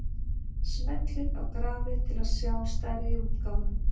Smellið á grafið til að sjá stærri útgáfu.